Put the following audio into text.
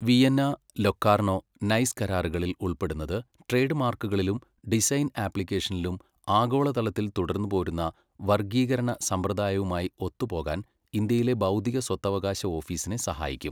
Vienna, Locarno Nice കരാറുകളിൽ ഉൾപ്പെടുന്നത് ട്രേഡ്മാർക്കുകളിലും, ഡിസൈൻ ആപ്ലിക്കേഷനിലും ആഗോളതലത്തിൽ തുടർന്ന് പോരുന്ന വർഗ്ഗീകരണ സമ്പ്രദായവുമായി ഒത്ത് പോകാൻ ഇന്ത്യയിലെ ബൗദ്ധിക സ്വത്തവകാശ ഓഫീസിനെ സഹായിക്കും.